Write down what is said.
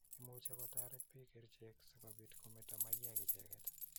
Imuchikotaret piik kerichek si kopit kometa maiyek icheget.